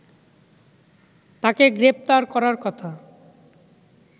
তাকে গ্রেপ্তার করার কথা